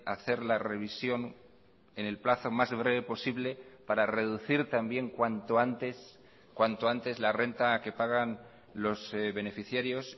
hacer la revisión en el plazo más breve posible para reducir también cuanto antes cuanto antes la renta que pagan los beneficiarios